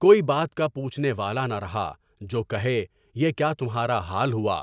کوئی بات کا پوچھنے والا نہ رہا جو کہے، یہ کیا تمہارا حال ہوا،